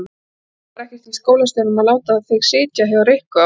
Ég skil nú bara ekkert í skólastjóranum að láta þig sitja hjá Rikku á